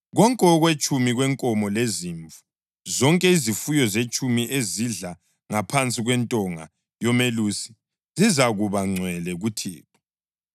Konke okwetshumi kwenkomo lezimvu, zonke izifuyo zetshumi ezidlla ngaphansi kwentonga yomelusi zizakuba ngcwele kuThixo.